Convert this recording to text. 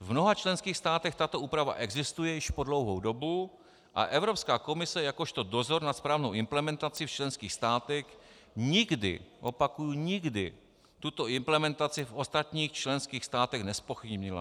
V mnoha členských státech tato úprava existuje již po dlouhou dobu a Evropská komise jakožto dozor nad správnou implementací v členských státech nikdy - opakuji nikdy - tuto implementaci v ostatních členských státech nezpochybnila.